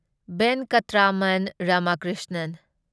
Venkataraman Ramakrishnan